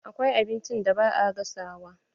Akwai abinci da ba a gasawa.